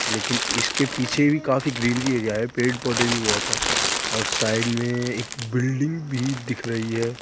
लेकिन इसके पीछे भी काफी ग्रीनरी एरिया है पेड़-पौधे भी बहुत है और साइड में एक बिल्डिंग भी दिख रही है।